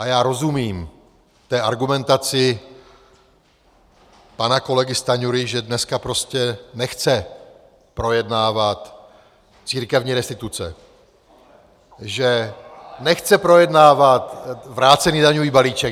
A já rozumím té argumentaci pana kolegy Stanjury, že dneska prostě nechce projednávat církevní restituce, že nechce projednávat vrácený daňový balíček.